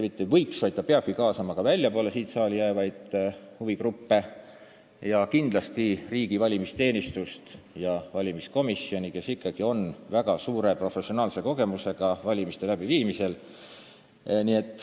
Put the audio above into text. Kindlasti peaks kaasama – mitte ainult ei võiks, vaid peabki – väljapoole seda saali jäävaid huvigruppe, samuti riigi valimisteenistust ja valimiskomisjoni, kellel on väga suur professionaalne kogemus valimiste korraldamisel.